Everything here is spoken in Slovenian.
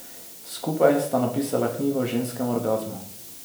Skupaj sta napisala knjigo o ženskem orgazmu.